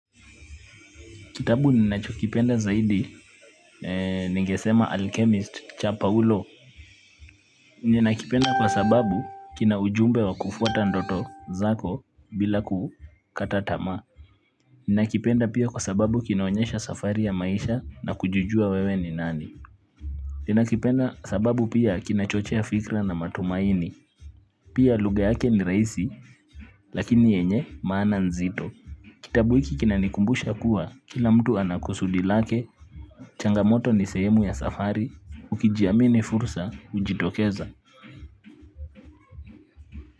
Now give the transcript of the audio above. Kitabu ninachokipenda zaidi ningesema alchemist cha paulo ninakipenda kwa sababu kina ujumbe wa kufuata ndoto zako bila kukata tamaa. Ninakipenda pia kwa sababu kinaonyesha safari ya maisha na kujijua wewe ni nani. Ninakipenda sababu pia kinachochea fikra na matumaini. Pia lugha yake ni rahisi, lakini yenye maana nzito. Kitabu hiki kinanikumbusha kuwa, kila mtu ana kusudi lake. Changamoto ni sehemu ya safari, ukijiamini fursa, hujitokeza.